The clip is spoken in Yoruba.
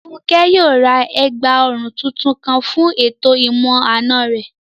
Fúnkẹ́ yóò ra ẹ̀gbà òrun tuntun kan fún ètò ìmọ-àna rẹ̀